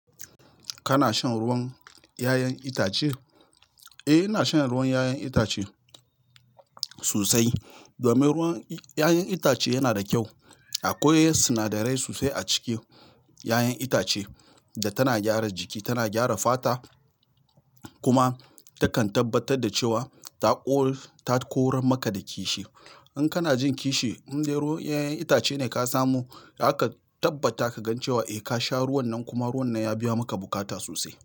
Kana shan ruwan 'ya'yan itace? Eh, ina shan ruwan 'ya'yan itace sosai domin ruwan 'ya'yan itace yana da kyau. Akwai sinadarai sosai a cikin ya'yan itace da tana gyara jiki, tana gyara fata kuma takan tabbatar da cewa ta koran maka da kishi. In kana jin kishi, indai ruwan ya'yan itace ne ka samo, zaka tabbata ka gan cewa eh ka sha ruwan nan kuma ruwan nan ya biya maka bukata sosai.